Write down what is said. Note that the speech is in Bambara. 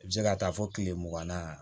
I bɛ se ka taa fɔ kile mugan na